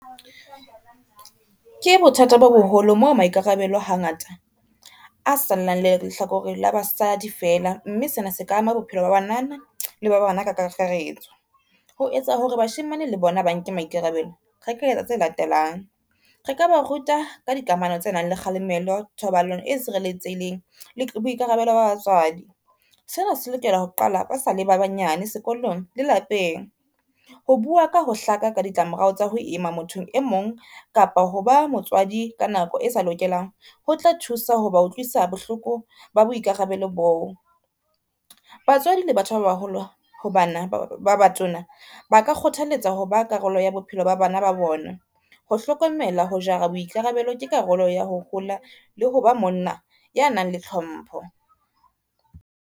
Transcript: Ke bothata bo boholo moo maikarabelo hangata, a salang le lehlakore la basadi feela, mme sena se ka ama bophelo ba banana le ba bana ka kakaretso. Ho etsa hore bashemane le bona ba nke maikarabelo, re ka etsa tse latelang, re ka ba ruta ka dikamano tse nang le kgalemelo, thobalano e sireletsehileng le boikarabelo ba batswadi. Sena se lokela ho qala ba sale ba banyane sekolong le lapeng. Ho bua ka ho hlaka ka ditlamorao tsa ho ima mothong e mong kapa ho ba motswadi ka nako e sa lokelang, ho tla thusa hoba utlwisa bohloko ba boikarabelo boo. Batswadi le batho ba baholo ho bana ba batona, ba ka kgothaletsa ho ba karolo ya bophelo ba bana ba bona, ho hlokomela ho jara boikarabelo ke karolo ya ho hola le ho ba monna ya nang le tlhompho.